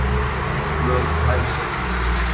Hert lög um hælisleitendur